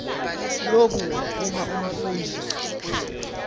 loku uma umfundzi